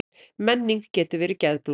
Menning getur verið geðbót.